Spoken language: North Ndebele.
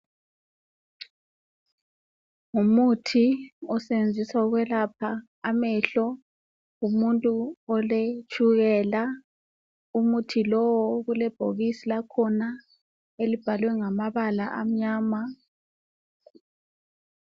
Ngumuthi osebenziswa ukwelapha amehlo ngumuntu oletshukela. Umuthi lowo okulebhokisi lakhona elibhalwe ngamabala amnyama.